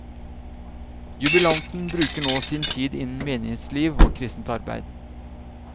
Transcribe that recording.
Jubilanten bruker nå sin tid innen menighetsliv og kristent arbeid.